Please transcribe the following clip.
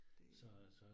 Det